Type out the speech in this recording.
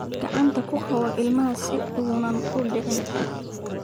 Gacanta ku qabo ilmaha si aanu u dhicin.